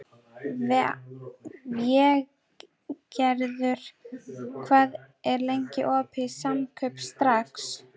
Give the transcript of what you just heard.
Végerður, hvað er lengi opið í Samkaup Strax?